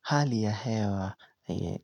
Hali ya hewa